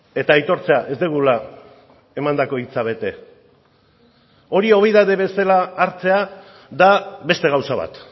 eta aitortzea ez dugula emandako hitza bete hori obiedade bezala hartzea da beste gauza bat